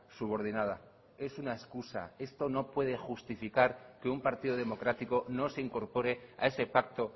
subordinada es una excusa esto no puede justificar que un partido democrático no se incorpore a ese pacto